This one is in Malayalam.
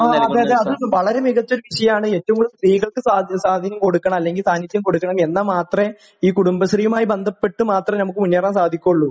ങാ..ങാ...അത് നൽകും.വളരെ മികച്ചൊരു വിഷയമാണ്.ഏറ്റവും കൂടുതൽ സ്ത്രീകൾക്ക് സ്വാധീനം കൊടുക്കണം, അല്ലെങ്കിൽ സാന്നിധ്യം കൊടുക്കണം.എന്നാ മാത്രേ...ഈ കുടുംബശ്രീയുമായി ബന്ധപ്പെട്ട് മാത്രമേ നമുക്ക് മുന്നേറാൻ സാധിക്കുള്ളൂ...